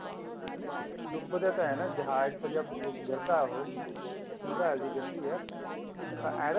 ਨਹੀ ਡੁੱਬਦਾ ਤਾਂ ਏਵੇਂ ਆ ਨਾ ਜਹਾਜ ਤੋਂ ਜਦ ਗਿਰਦਾ ਉਹ missile ਜੀ ਗਿਰਦੀ ਹੈ